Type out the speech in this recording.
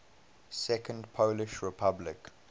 second polish republic